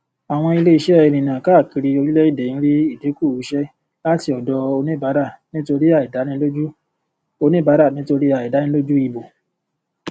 àwọn iléiṣẹ ìrìnà káàkiri orílẹèdè ń rí ìdínkù iṣẹ láti ọdọ oníbàárà nítorí àìdánilójú oníbàárà nítorí àìdánilójú ìbò